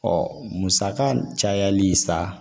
musaka cayali sa